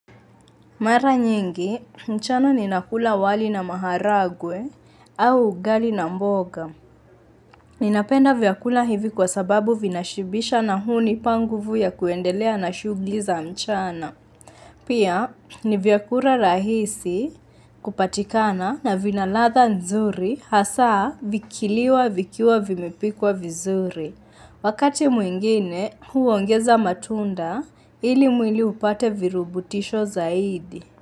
Mara nyingi, mchana ninakula wali na maharagwe au ugali na mboga. Ninapenda vyakula hivi kwa sababu vinashibisha na hunipa nguvu ya kuendelea na shughuli za mchana. Pia, ni vyakula rahisi kupatikana na vina ladha nzuri hasaa vikiliwa vikiwa vimepikwa vizuri. Wakati mwingine huu ongeza matunda ili mwili upate virubutisho zaidi.